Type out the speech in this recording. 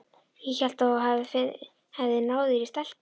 Ég hélt að þú hefðir náð þér í stelpu.